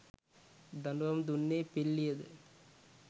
දඬුවම් දුන්නේ පිල්ලියද